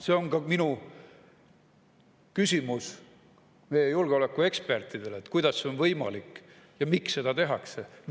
See on ka minu küsimus meie julgeolekuekspertidele: kuidas see on võimalik ja miks seda tehakse?